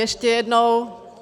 Ještě jednou.